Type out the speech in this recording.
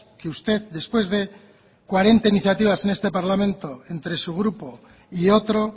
que usted después de cuarenta iniciativas en este parlamento entre su grupo y otro